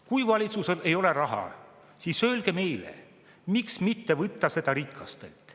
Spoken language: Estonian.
Kui valitsusel ei ole raha, siis öelge meile, miks mitte seda võtta rikastelt.